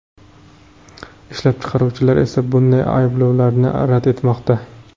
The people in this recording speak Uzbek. Ishlab chiqaruvchilar esa bunday ayblovlarni rad etmoqda.